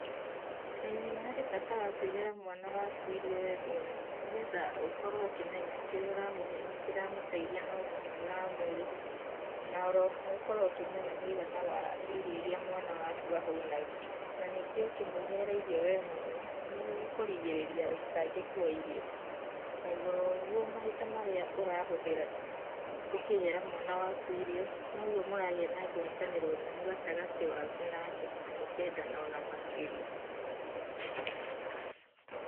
ĩĩ nĩ harĩ bata wa kũĩhera mwana waku irio we mwene nĩgetha ũkorwo ũkĩmenya kĩrĩa ũramũhe nĩ kĩra mũteithia na ũgima mwega wa mũĩrĩ. Na oro ho ũkorwo ũkĩmenya mwĩigana wa irio irĩa mwana waku ahũnaga. Ningĩ ũkĩmwĩhera irio we mwene nĩ ũkũrigĩrĩria wĩitangĩku wa irio. Na igũrũ wa ũguo mahinda marĩa ũrahũthĩra ũkĩhera mwana waku irio noguo mũragĩa na ngwatanĩro nũmu gatagatĩ gaku nake na mũkendana o na makĩria.